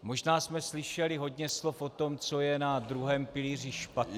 Možná jsme slyšeli hodně slov o tom, co je na druhém pilíři špatně.